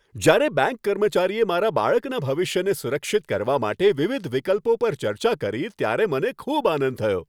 જ્યારે બેંક કર્મચારીએ મારા બાળકના ભવિષ્યને સુરક્ષિત કરવા માટે વિવિધ વિકલ્પો પર ચર્ચા કરી ત્યારે મને ખૂબ આનંદ થયો.